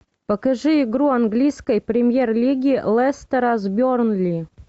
покажи игру английской премьер лиги лестера с бернли